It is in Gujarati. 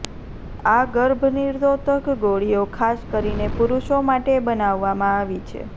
આ ગર્ભનિરોધક ગોળીઓ ખાસ કરીને પુરુષો માટે બનાવવામાં આવી છે